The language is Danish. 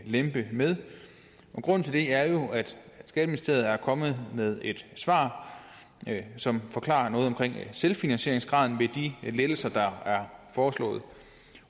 lempe med og grunden til det er jo at skatteministeriet er kommet med et svar som forklarer noget om selvfinansieringsgraden ved de lettelser der er foreslået